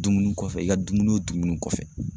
Dumuni kɔfɛ i ka dumuni dumuni kɔfɛ.